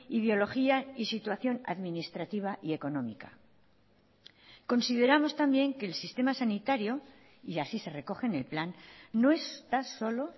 ideología y situación administrativa y económica consideramos también que el sistema sanitario y así se recoge en el plan no está solo